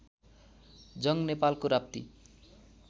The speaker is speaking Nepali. जङ्ग नेपालको राप्ती